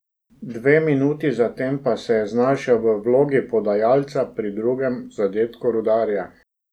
Dve minuti zatem pa se je znašel v vlogi podajalca pri drugem zadetku Rudarja.